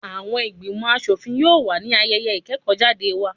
Àwọn ìgbìmò aṣòfin yóò wà ní ayẹyẹ ìkẹ́kọ́ jáde wa.